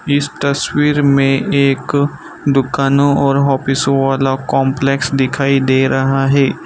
इस तस्वीर में एक दुकानों और ऑफिसों वाला कॉम्प्लेक्स दिखाई दे रहा है।